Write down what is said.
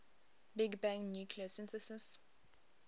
big bang nucleosynthesis